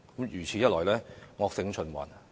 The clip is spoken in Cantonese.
如此一來，惡性循環。